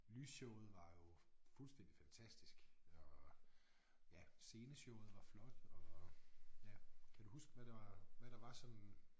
Lysshowet var jo fuldstændig fantastisk og ja sceneshowet var flot og ja kan du huske hvad der hvad der var sådan